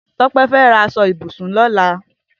Tope fẹ rà aṣọ ibúsún lọlá